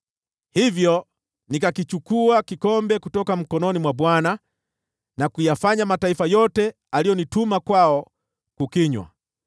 Hivyo nikakichukua kikombe kutoka mkononi mwa Bwana , na kuyafanya mataifa yote aliyonituma kwao kukinywa: